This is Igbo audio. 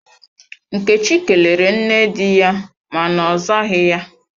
Nkechi kelere nne di ya ma na ozaghi ya.